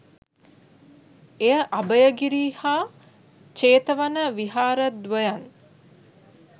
එය අභයගිරි හා ජේතවන විහාරද්වයන්